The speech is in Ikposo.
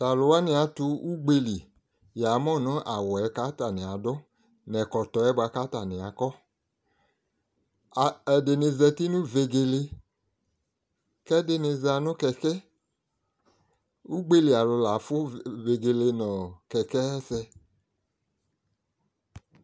T'alʋwani atʋ ugbeli, yamʋ nʋ awʋ yɛ k'atanɩ adʋ, n'ɛkɔtɔ yɛ bʋa k'atanɩ akɔ Ɛdɩnɩ zati nʋ vegele k'ɛdɩnɩ za nʋ kɛkɛ Ugbeli alʋ la afʋ vegele nʋ kɛkɛ ayɛsɛ